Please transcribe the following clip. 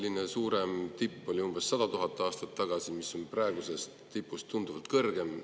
Viimane suurem tipp oli umbes 100 000 aastat tagasi, mis on praegusest tipust tunduvalt kõrgem.